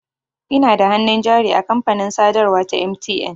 Ina da hannun jari a kamfanin sadarwa ta MTN.